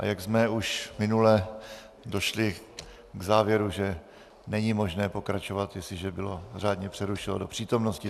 A jak jsme už minule došli k závěru, že není možné pokračovat, jestliže bylo řádně přerušeno do přítomnosti.